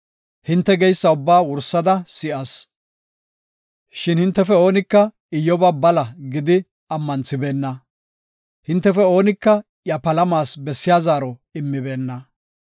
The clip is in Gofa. Hinte geysa ubbaa wursada si7as; shin hintefe oonika Iyyoba bala gidi ammanthibena; hintefe oonika iya palamas bessiya zaaro immibeenna.